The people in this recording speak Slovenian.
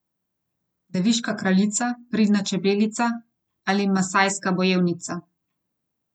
Deviška kraljica, pridna čebelica ali masajska bojevnica?